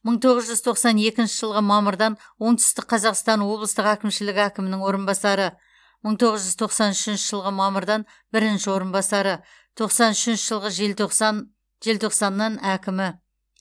мың тоғыз жүз тоқсан екінші жылғы мамырдан оңтүстік қазақстан облыстық әкімшілігі әкімінің орынбасары мың тоғыз жүз тоқсан үшінші жылғы мамырдан бірінші орынбасары тоқсан үшінші жылғы желтоқсан желтоқсаннан әкімі